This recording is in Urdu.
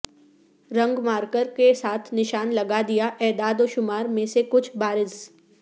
رنگ مارکر کے ساتھ نشان لگا دیا اعداد و شمار میں سے کچھ بارز